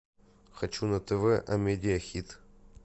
хочу на тв амедиа хит